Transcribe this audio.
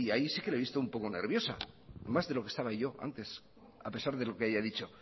y ahí sí que le he visto un poco nerviosa más de lo que estaba yo antes a pesar de lo que haya dicho